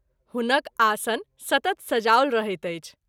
हुनक आसन सतत सजाओल रहैत अछि।